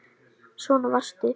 Svona varstu.